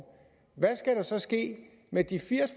hvad skal der så ske med de firs